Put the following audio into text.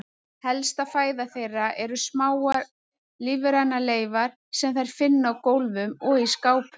Helsta fæða þeirra eru smáar lífrænar leifar sem þær finna á gólfum og í skápum.